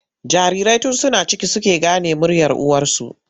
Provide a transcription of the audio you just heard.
Jarirai tun suna ciki suke gane muryar uwarsu.